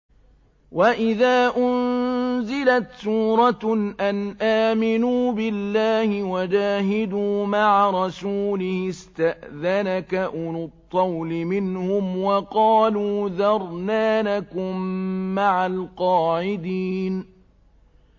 وَإِذَا أُنزِلَتْ سُورَةٌ أَنْ آمِنُوا بِاللَّهِ وَجَاهِدُوا مَعَ رَسُولِهِ اسْتَأْذَنَكَ أُولُو الطَّوْلِ مِنْهُمْ وَقَالُوا ذَرْنَا نَكُن مَّعَ الْقَاعِدِينَ